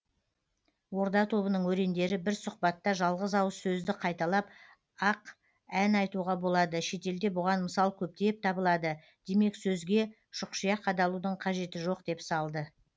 орда тобының өрендері бір сұхбатта жалғыз ауыз сөзді қайталап ақ ән айтуға болады шетелде бұған мысал көптеп табылады демек сөзге шұқшия қадалудың қажеті жоқ деп салды